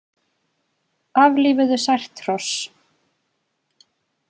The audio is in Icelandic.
Aflífuðu sært hross